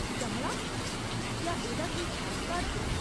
चमड़ा ? क्या एह्दा कोई खास कारण ऐ ?